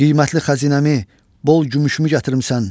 Qiymətli xəzinəmi, bol gümüşümü gətirmisən.